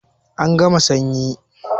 An gama sanyi